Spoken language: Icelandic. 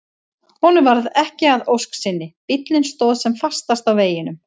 Honum varð ekki að ósk sinni, bíllinn stóð sem fastast á veginum.